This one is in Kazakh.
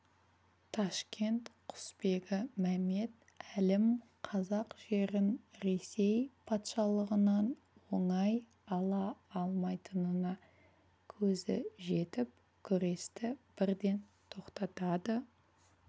ташкент құсбегі мәмет әлім қазақ жерін ресей патшалығынан оңай ала алмайтынына көзі жетіп күресті бірден тоқтатады